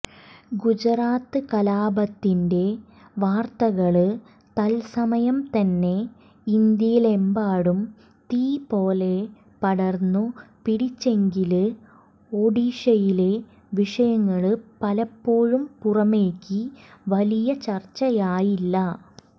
ഗുജറാത്ത് കലാപത്തിന്റെ വാര്ത്തകള് തത്സമയംതന്നെ ഇന്ത്യയിലെമ്പാടും തീപോലെ പടര്ന്നു പിടിച്ചെങ്കില് ഒഡീഷയിലെ വിഷയങ്ങള് പലപ്പോഴും പുറമേക്ക് വലിയ ചര്ച്ചയായില്ല